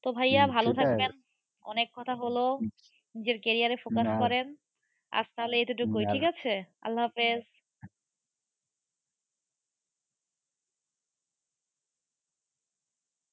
তো ভাইয়া ভালো থাকবেন। অনেক কথা হলো। নিজের career এ focus করেন। আজ তাহলে এতটুকুই । ঠিক আছে। আল্লা হাফেজ